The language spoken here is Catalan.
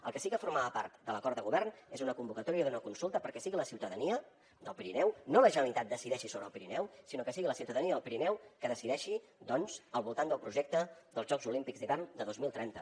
el que sí que formava part de l’acord de govern és una convocatòria d’una consulta perquè sigui la ciutadania del pirineu no la generalitat decideixi sobre el pirineu sinó que sigui la ciutadania del pirineu qui decideixi doncs al voltant del projecte dels jocs olímpics d’hivern de dos mil trenta